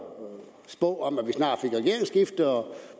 spå om